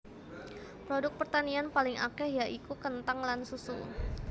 Produk pertanian paling akèh ya iku kenthang lan susu